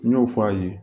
N y'o f'a ye